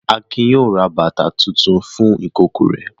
Akin yóò ra bàtá tuntun fún ìkókó rẹ̀.